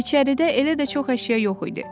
İçəridə elə də çox əşya yox idi.